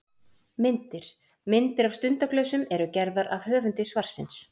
Myndir: Myndir af stundaglösum eru gerðar af höfundi svarsins.